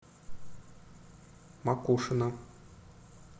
макушино